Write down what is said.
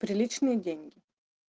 приличные деньги